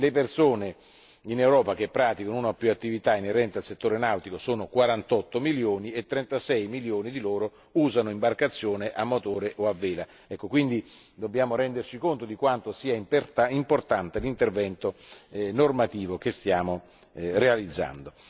Le persone in Europa che praticano una o più attività inerente al settore nautico sono 48 milioni e 36 milioni di loro usano imbarcazione a motore o a vela, quindi dobbiamo renderci conto di quanto sia importante l'intervento normativo che stiamo realizzando.